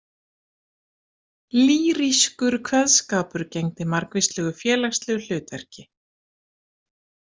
Lýrískur kveðskapur gegndi margvíslegu félagslegu hlutverki.